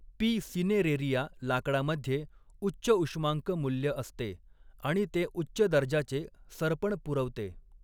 P. Cineraria लाकडामध्ये उच्च उष्मांक मूल्य असते आणि ते उच्च दर्जाचे सरपण पुरवते.